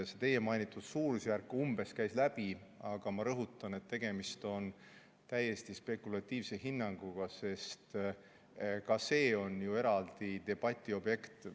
See teie mainitud suurusjärk käis läbi, aga ma rõhutan, et tegemist on täiesti spekulatiivse hinnanguga, sest ka see on eraldi debatiobjekt.